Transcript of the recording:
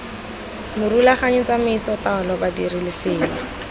morulaganyi tsamaiso taolo badiri lefelo